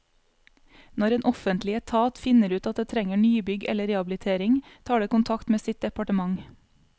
Når en offentlig etat finner ut at det trenger nybygg eller rehabilitering, tar det kontakt med sitt departement.